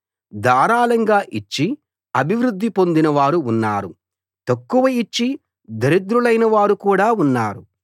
ధారాళంగా ఇచ్చి అభివృద్ధి పొందిన వారు ఉన్నారు తక్కువ ఇచ్చి దరిద్రులైన వారు కూడా ఉన్నారు